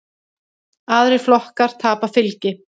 Aðrir flokkar tapa fylgi.